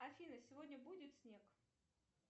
афина сегодня будет снег